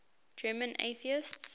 german atheists